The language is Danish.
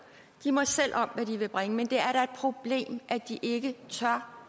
de må selv om hvad de vil bringe men det er da et problem at de ikke tør